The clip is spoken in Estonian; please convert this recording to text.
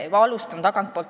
Ma alustan tagantpoolt.